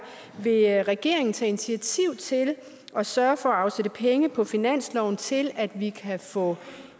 vil regeringen tage initiativ til at sørge for at afsætte penge på finansloven til at vi kan få